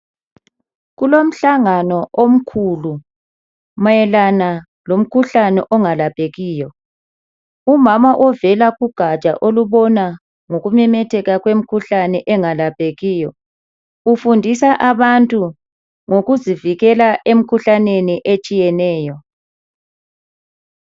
Kulomhlangano omkhulu mayelana lomkhuhlane ongalaphekiyo umama ovela kugatsha olubona ngokumemetheka kwemikhuhlane engalaphekiyo ufundisa abantu ngokuzivikela emikhuhlaneni etshiyeneyo.